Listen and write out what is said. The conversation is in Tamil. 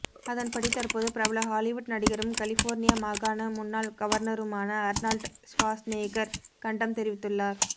அதன்படி தற்போது பிரபல ஹாலிவுட் நடிகரும் கலிபோர்னியா மாகாண முன்னாள் கவர்னருமான அர்னால்ட் ஸ்வாஸ்நேகர் கண்டம் தெரிவித்துள்ளார்